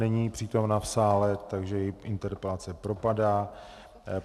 Není přítomna v sále, takže její interpelace propadá.